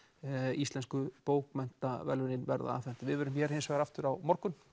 íslensku bókmenntaverðlaunin verða afhent við verðum hér aftur á morgun